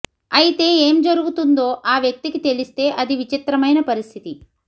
అయితే ఏం జరుగుతుందో ఆ వ్యక్తికి తెలిస్తే అది విచిత్రమైన పరిస్థితి